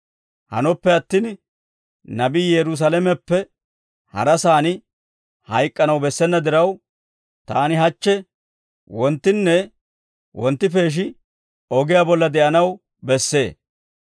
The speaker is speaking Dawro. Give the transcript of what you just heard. Hanoppe attin nabii Yerusaalameppe harasaan hayk'k'anaw bessena diraw, taani hachche, wonttinne wonttipeeshi ogiyaa bolla de'anaw bessee.